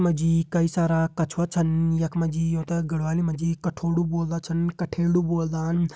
यख मा जी कई सारा कछुवा छन यख मा जी यूं ते गढ़वाली मा जी कठोड़ु बोल्दां छन कठेड़ु बोलदान।